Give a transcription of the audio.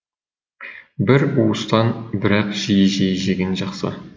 бір уыстан бірақ жиі жиі жеген жақсы